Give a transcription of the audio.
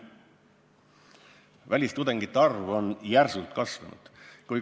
Välistudengite arv on järsult kasvanud.